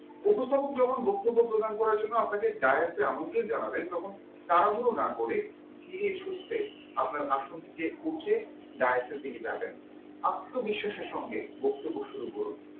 উপস্থাপক যখন আপনাকে বক্তব্য প্রদান করার জন্য direkte এ আমন্ত্রণ জানাবেন তখন তাড়াহুড়ো না করে ধীরেসুস্থে আপনার আসন থেকে উঠে direkte এর দিকে যাবেন আত্মবিশ্বাসের সাথে বক্তব্য শুরু করুন